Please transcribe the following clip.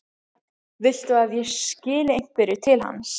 Viltu að ég skili einhverju til hans?